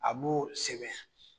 A b'o sɛbɛn